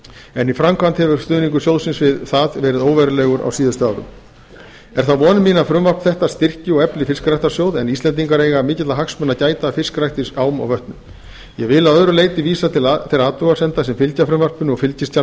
en í framkvæmd hefur stuðningur sjóðsins við fiskeldi verið óverulegur á síðustu árum það er von mín að frumvarp þetta styrki og efli fiskræktarsjóð en íslendingar eiga mikilla hagsmuna að gæta af fiskrækt í ám og vötnum ég vil að öðru leyti vísa til þeirra athugasemda sem fylgja frumvarpinu og fylgiskjals